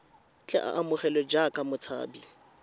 tle a amogelwe jaaka motshabi